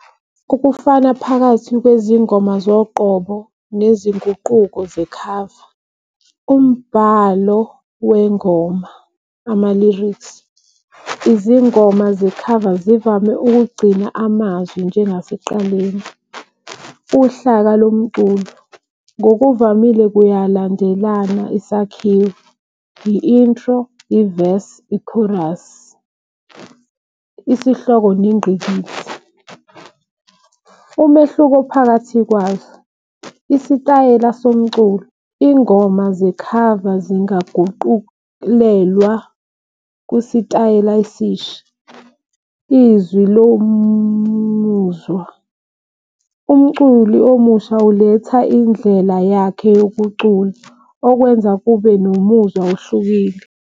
Ukufana phakathi lwezingoma zoqobo nezinguquko zekhava. Umbhalo wengoma, ama-lyrics izingoma zekhava zivame ukugcina amazwi njengasekuqaleni. Uhlaka lomculo ngokuvamile kuyalandelana isakhiwo, i-intro i-verse i-chorus. Isihloko nengqikithi umehluko phakathi kwaso, isitayela somculo ingoma zekhava zingaguqulelwa kwisitayela esisha. Izwi lomuzwa umculi omusha uletha indlela yakhe yokucula okwenza kube nomuzwa ohlukile.